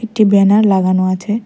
একটি ব্যানার লাগানো আছে।